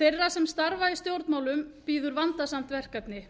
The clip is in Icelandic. þeirra sem starfa í stjórnmálum bíður vandasamt verkefni